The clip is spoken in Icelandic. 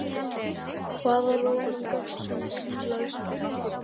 Hvaða rólum gafst hún Grýla upp á?